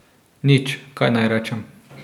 Nič, kaj naj rečem.